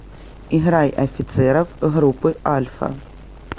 играй офицеров группы альфа